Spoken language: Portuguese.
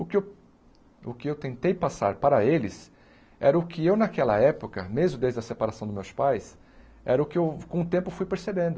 O que eu o que eu tentei passar para eles era o que eu naquela época, mesmo desde a separação dos meus pais, era o que eu com o tempo fui percebendo.